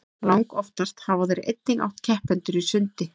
langoftast hafa þeir einnig átt keppendur í sundi